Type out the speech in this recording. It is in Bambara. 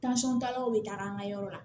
taalaw bɛ taga an ka yɔrɔ la